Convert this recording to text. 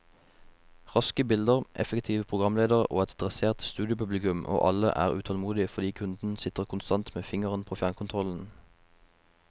Raske bilder, effektive programledere og et dressert studiopublikum, og alle er utålmodige fordi kunden sitter konstant med fingeren på fjernkontrollen.